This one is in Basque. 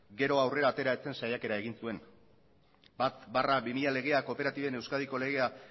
gero aurrera atera ez zen saiakera egin zuen bat barra bi mila legea kooperatiben euskadiko legea